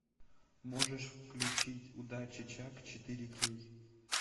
можешь включить удачи чак четыре кей